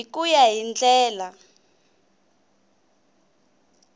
hi ku ya hi ndlela